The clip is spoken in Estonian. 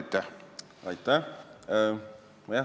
Aitäh!